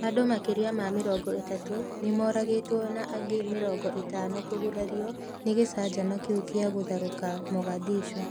Andũ makĩria ma mĩrongo ĩtatũ nĩ mooragĩtwo na angĩ mĩrongo ĩtano kũgurario nĩ gĩcanjama kĩu kĩa gũtharũka Mogadishu